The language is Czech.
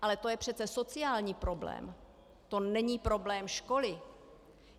Ale to je přece sociální problém, to není problém školy!